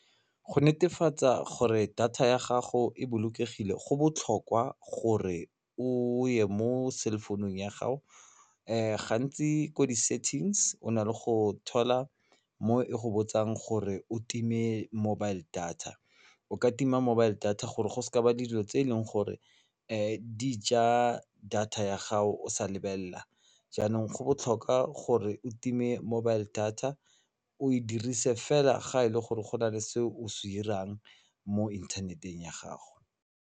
Go netefatsa gore data ya gago e bolokegile go botlhokwa gore o ye mo cell phone-ung ya gago gantsi ko di-settings o na le go thola mo e go botsang gore o time mobile data o ka tima mobile data gore go seka ba dilo tse e leng gore di ja data ya gago o sa lebelela jaanong go botlhokwa gore o time mobile data o e dirise fela ga e le gore go na le se o se dirang mo inthaneteng ya gago.